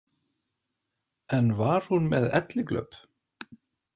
En var hún með elliglöp?